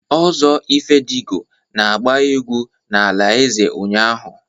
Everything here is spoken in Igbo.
Ozo Ifedigo na-agba egwu n'ala eze ụnyahụ.